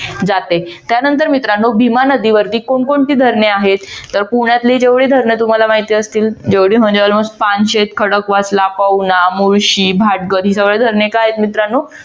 जाते त्यानंतर मित्रांनो भीमा नदीवरती कोण कोणती धरणे आहेत? पुण्यातली जेवढी धरणे तुम्हाला माहित असतील जेवढी म्हणजे almost पानशेद खडकवासला पौना मुळशी भाटघर ही धरणे काय आहेत मित्रांनो